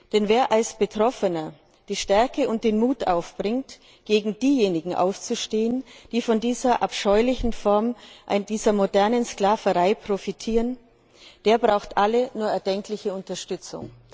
Denn wer als Betroffener die Stärke und den Mut aufbringt, gegen diejenigen aufzustehen, die von dieser abscheulichen Form der modernen Sklaverei profitieren, der braucht alle nur erdenkliche Unterstützung.